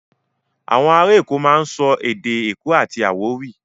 À̀wọn ará Èkó máa ń sọ èdè èkó àti àwórì.